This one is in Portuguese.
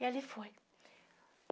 E ali foi.